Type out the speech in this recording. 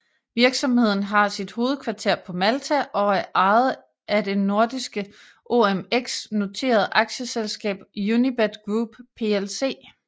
Virksomheden har sit hovedkvarter på Malta og er ejet af det nordiske OMX noterede aktieselskab Unibet Group plc